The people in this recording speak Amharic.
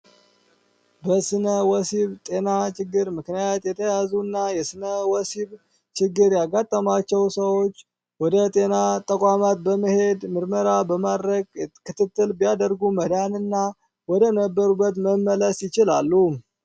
በስነ ወሲብ ጤና ችግር ምክንያት የተያዙና የስነ ወሲብ ችግር ያጋጠማቸው ሰዎች ወደ ጤና ተቋማት በመሄድ ምርመራ በማድረግ ክትትል ቢያደርጉ መዳን እና ወደ ነበሩበት መመለስ ይችላሉ።